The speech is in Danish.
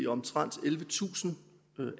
omtrent ellevetusind